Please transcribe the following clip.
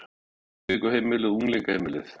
Skoða upptökuheimilið og unglingaheimilið